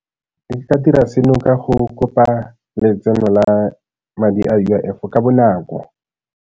Re ka dira seno ka go kopa letseno la madi a U_I_F ka bonako.